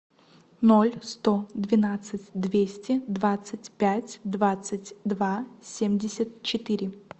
ноль сто двенадцать двести двадцать пять двадцать два семьдесят четыре